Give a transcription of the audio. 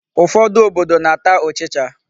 Ụfọdụ obodo na-ata ụchịcha.